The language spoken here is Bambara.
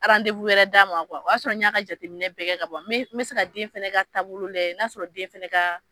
wɛrɛ d'a ma o y'a sɔrɔ n y'a ka jateminɛ bɛɛ kɛ ka ban, n bɛ n bɛ se ka den fɛnɛ ka taabolo lajɛ n'a y'a sɔrɔ den fɛnɛ ka